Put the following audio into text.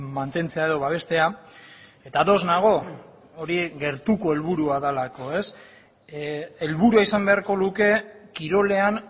mantentzea edo babestea eta ados nago hori gertuko helburua delako helburua izan beharko luke kirolean